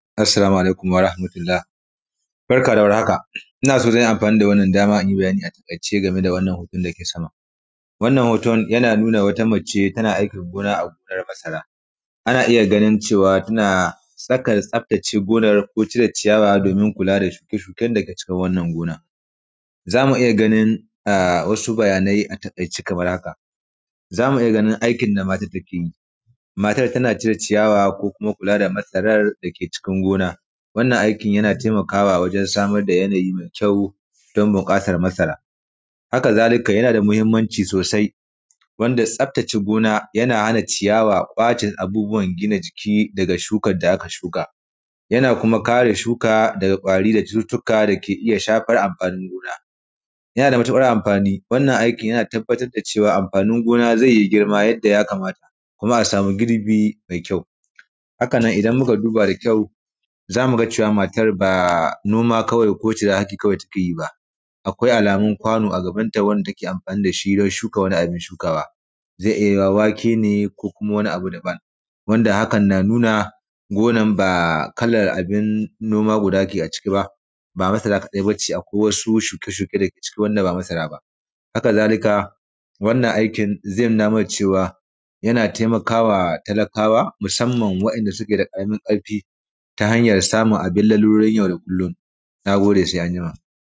Assalamu alaikum warahmatullah, barka da warhaka, ina so zan yi amfani da wannan dama in yi bayani a taƙaice game da wannan hoton da yake sama. Wannan hoton yana nuna wata mace tana aikin gona a gonar masara,, ana iya ganin cewa tana tsaka da tsaftace gonar, ko cire ciyawa domin kula da shuke-shuken da ke cikin wannan gona. Za mu iya ganin a; wasu bayanai a taƙaice kamar haka, za mu iya ganin aikin da matat take yi. Matar tana cire ciyawa ko kuma kula da masarar da ke cikin gona, wannan aikin yana temakawa wajen samar da yanayi me kyau don buƙatar masara. Haka zalika, yana da muhimmanci sosai wanda tsaftace gona, yana hana ciyawa, ƙwace abubuwan gina jiki daga shukad da aka shuka. Yana kuma kare shuka daga ƙwari da cututtuka da ke iya shafar amfanin gona yana da mutuƙar amfani, wannan aikin yana tabbatar da cewa amfanin gona ze yi girma yadda ya kamata, kuma a sami girbi me kyau. Haka nan, idan muka duba da kyau, za mu ga cewa matar ba noma kawai ko ciran haki kawai take yi ba Akwai alamun kwano a gabanta wanda take amfani da shi wajen shuka wani abin shukawa. Ze iya yiwuwa wake ne ko kuma wani abu daban, wanda hakan na nuna gonan ba kamar abin noma guda ke a ciki ba, ba masara kaɗai ba ce, akwai wasu shuke-shuke da ke ciki wanda ba masara ba. Haka zalika, wannan aikin, ze nuna mana cewa, yana temaka wa talakawa, musamman waɗanda suke da ƙaramin ƙarfi, ta hanyar samin abin lalurori yau da kullum, na gode se anjima.